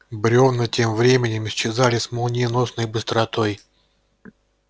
брёвна тем временем исчезали с молниеносной быстротой